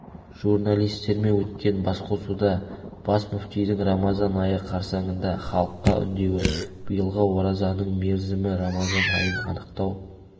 журналистермен өткен басқосуда бас мүфтидің рамазан айы қарсаңында халыққа үндеуі биылғы оразаның мерзімі рамазан айын анықтау